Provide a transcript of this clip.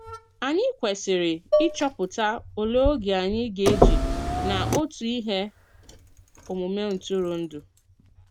Ànyị kwesiri ịchọpụta òlè ògé anyị gā-eji na òtù ihe omume ntụrụndụ.